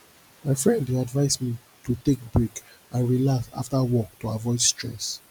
my friend dey advise me to take break and relax after work to avoid stress